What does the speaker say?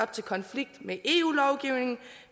til konflikt med eu lovgivningen